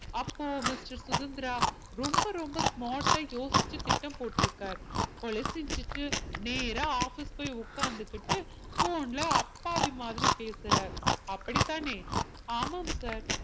அப்போ mister சுதந்திரா ரொம்ப ரொம்ப smart ஆ யோசிச்சு திட்டம் போட்டிருக்கார் கொலை செஞ்சிட்டு நேரா office போய் உட்கார்ந்துகிட்டு phone ல அப்பாவி மாதிரி பேசுறார் அப்படித்தானே ஆமாம் sir